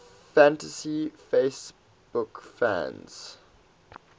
fantasy baseball fans